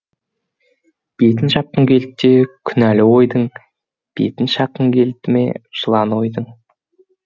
бетін жапқым келді ме күнәлі ойдың бетім шаққың келді ме жыланы ойдың